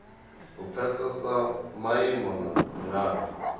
u pfesesa maimo na milayo